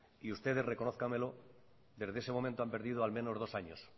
y ustedes reconózcamelo desde ese momento han perdido al menos dos años